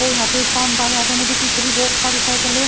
और यहां पे शानदार यहां पे मुझे पीछे भी बहुत सारी साइकल है।